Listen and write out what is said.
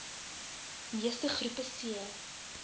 meeste groepe c